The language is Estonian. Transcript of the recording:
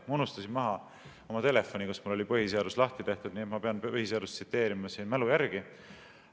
Ma unustasin maha oma telefoni, kus mul oli põhiseadus lahti tehtud, nii et ma pean põhiseadust tsiteerima mälu järgi.